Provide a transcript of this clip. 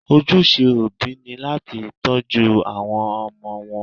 Ojúṣe òbí ni láti tọ́jú àwọn ọmọ wọn.